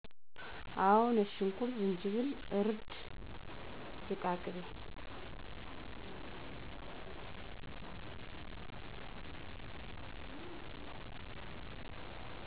አው ነጭሽኩርት ጅጅብል እርድ ዝቃቅቤ